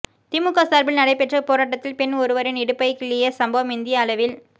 திமுக சார்பில் நடைப்பெற்ற போராட்டத்தில் பெண் ஒருவரின் இடுப்பை கிள்ளிய சம்பவம் இந்திய அளவில்